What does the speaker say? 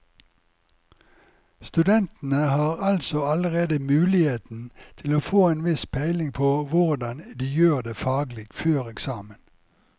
Studentene har altså allerede muligheten til å få en viss peiling på hvordan de gjør det faglig før eksamen.